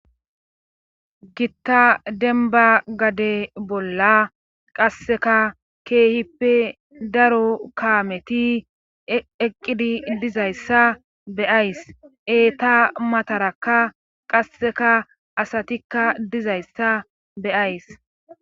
gitta denba gade bolla qasseka keehippe daro kaameti eqqidi dizayssa be ays eeta matarakka qasseka asatikka dizayssa be ays